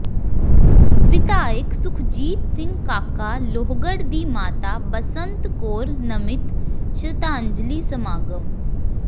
ਵਿਧਾਇਕ ਸੁਖਜੀਤ ਸਿੰਘ ਕਾਕਾ ਲੋਹਗੜ੍ਹ ਦੀ ਮਾਤਾ ਬਸੰਤ ਕੌਰ ਨਮਿਤ ਸ਼ਰਧਾਂਜਲੀ ਸਮਾਗਮ